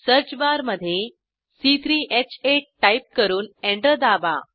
सर्चबारमधे c3ह8 टाईप करून एंटर दाबा